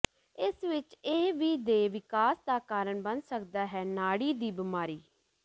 ਇਸ ਵਿਚ ਇਹ ਵੀ ਦੇ ਵਿਕਾਸ ਦਾ ਕਾਰਨ ਬਣ ਸਕਦਾ ਹੈ ਨਾੜੀ ਦੀ ਬਿਮਾਰੀ